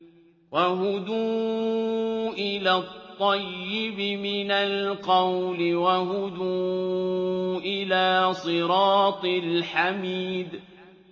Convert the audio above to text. وَهُدُوا إِلَى الطَّيِّبِ مِنَ الْقَوْلِ وَهُدُوا إِلَىٰ صِرَاطِ الْحَمِيدِ